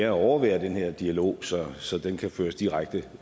at overvære den her dialog så så den kan føres direkte